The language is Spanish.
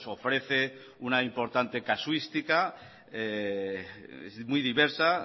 ofrece una importante casuística es muy diversa